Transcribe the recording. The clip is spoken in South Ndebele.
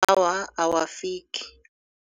Awa, awafiki.